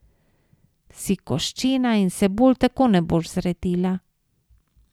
Si koščena in se bolj tako ne boš zredila.